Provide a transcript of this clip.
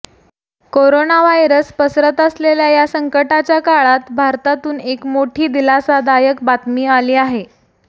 corona virus पसरत असलेल्या या संकटाच्या काळात भारतातून एक मोठी दिलासादायक बातमी आली आहे